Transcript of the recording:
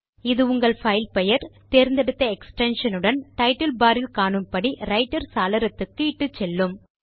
இது உங்களை பைல் பெயர் தேர்ந்தெடுத்த extensionஉடன் டைட்டில் பார் இல் காணும்படி ரைட்டர் சாளரத்துக்கு இட்டுச்செல்லும்